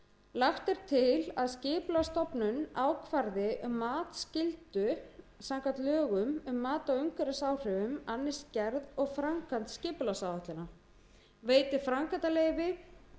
lagt er til að skipulagsstofnun ákvarði um matsskyldu samkvæmt lögum um mat á umhverfisáhrifum annist gerð og framkvæmd skipulagsáætlana veiti framkvæmdaleyfi